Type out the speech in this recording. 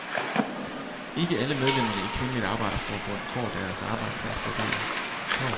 Ikke alle medlemmerne i Kvindeligt Arbejderforbund fået deres arbejdsplads vurderet.